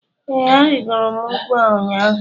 Ee, arịgoro m ugwu a ụnyaahụ